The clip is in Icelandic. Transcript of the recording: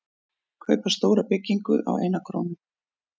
Kaupa stóra byggingu á eina krónu